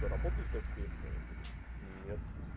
работа искать приехал я говорю нет